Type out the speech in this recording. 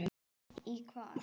Í hvað?